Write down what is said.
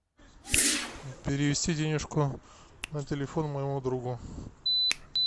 перевести денежку на телефон моему другу